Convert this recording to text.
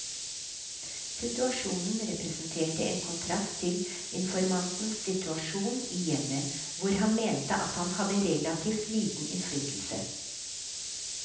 Situasjonen representerte en kontrast til informantens situasjon i hjemmet, hvor han mente at han hadde relativt liten innflytelse.